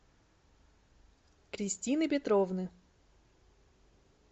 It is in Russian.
кристины петровны